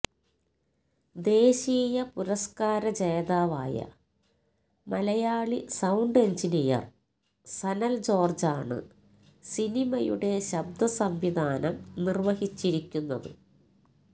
ദേശീയ പുരസ്കാര ജേതാവായ മലയാളി സൌണ്ട് എൻജിനിയർ സനൽ ജോർജാണ് സിനിമയുടെ ശബ്ദസംവിധാനം നിർവഹിച്ചിരിക്കുന്നത്